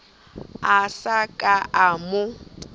a sa ka a mo